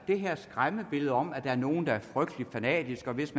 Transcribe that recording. det her skræmmebillede om at der er nogle der er frygtelig fanatiske hvis